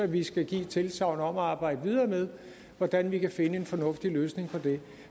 vi skal give et tilsagn om at arbejde videre med hvordan vi kan finde en fornuftig løsning på det